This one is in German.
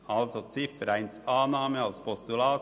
Also: Ziffer 1: Annahme als Postulat;